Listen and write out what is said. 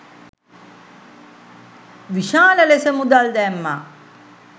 විශාල ලෙස මුදල් දැම්මා.